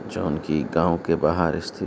जौन की गांव के बाहर स्थित --